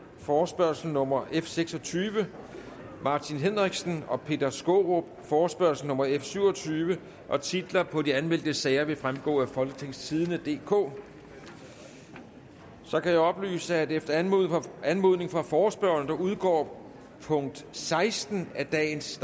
forespørgsel nummer f seks og tyve martin henriksen og peter skaarup forespørgsel nummer f syv og tyve titler på de anmeldte sager vil fremgå af folketingstidende DK så kan jeg oplyse at efter anmodning anmodning fra forespørgerne udgår punkt seksten af dagens